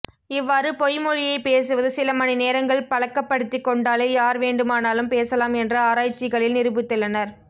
இவ்வாறு பொய்மொழியை பேசுவது சில மணிநேரங்கள் பழக்கப்படுத்திகொண்டாலே யார் வேண்டுமானாலும் பேசலாம் என்று ஆராய்ச்சிகளில் நிரூபித்துள்ளனர்